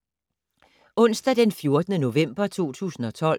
Onsdag d. 14. november 2012